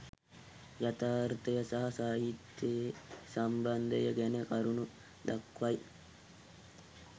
යථාර්ථය හා සාහිත්‍යයේ සම්බන්ධය ගැන කරුණු දක්වයි